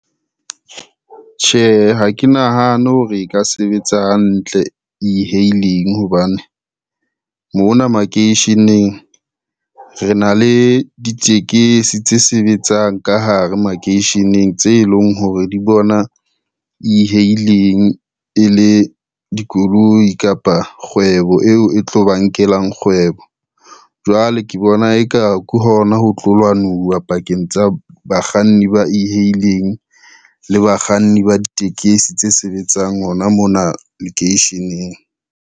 Tjhe, ha ke nahane hore e ka sebetsa hantle e-hailing hobane, mona makeisheneng re na le ditekesi tse sebetsang ka hare makeisheneng tse leng hore di bona e-hailing e le dikoloi kapa kgwebo eo e tlo ba nkelang kgwebo. Jwale ke bona e ka ke hona ho tlo lwanuwa pakeng tsa bakganni ba e-hailing le bakganni ba ditekesi tse sebetsang hona mona lekeisheneng.